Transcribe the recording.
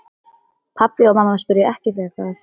Pabbi og mamma spyrja ekki frekar.